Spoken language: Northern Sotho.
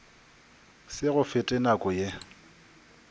se go fete nako ye